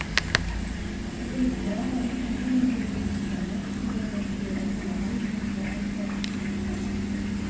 Þetta virðist grafa undan hugmyndinni um að náttúrulögmál séu endilega almenn og altæk.